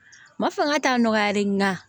Ma fanga t'a nɔgɔyalen nga